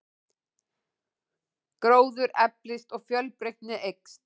Gróður eflist og fjölbreytnin eykst.